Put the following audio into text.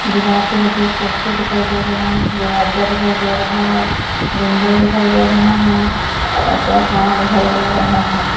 ਦੀਵਾਰ ਤੇ ਲੱਗੇ ਹੋਏ ਪੋਸਟਰ ਦਿਖਾਈ ਦੇ ਰਹੇ ਹਨ ਦਰਵਾਜਾ ਦਿਖਾਈ ਦੇ ਰਹਾ ਹੈ ਵਿੰਡੋਜ਼ ਦਿਖਾਈ ਦੇ ਰਾਹੀਆਂ ਹਨ ਅਤੇ ਆਸਮਾਨ ਦਿਖਾਈ ਦੇ ਰਹਾ ਹੈ।